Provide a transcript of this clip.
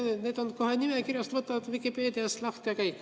Ja nad on kohe nimekirjas, võtad Vikipeedias lahti, ja kõik.